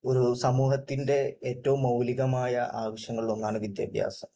ഒരു സമൂഹത്തിന്റെ ഏറ്റവും മൌലികമായ ആവശ്യങ്ങളിലൊന്നാണ് വിദ്യാഭ്യാസം.